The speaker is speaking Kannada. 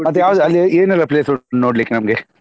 ಮತ್ತ್ ಯಾವ್ದ್ ಅಲ್ಲಿಏನ್ ಏನೆಲ್ಲ place ಉಂಟು ನೋಡ್ಲಿಕ್ಕೆ ನಮ್ಗೆ?